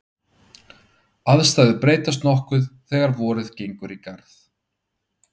aðstæður breytast nokkuð þegar vorið gengur í garð